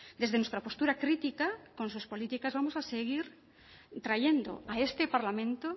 desde nuestra postura crítica con sus políticas vamos a seguir trayendo a este parlamento